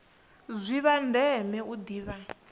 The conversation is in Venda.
ndi zwa ndeme u ḓivha